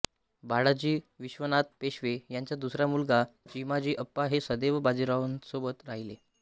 बाळाजी विश्वनाथ पेशवे यांचा दुसरा मुलगा चिमाजी अप्पा हे सदैव बाजीरावांसोबत राहिले